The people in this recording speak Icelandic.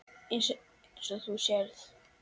Eins og þú sérð.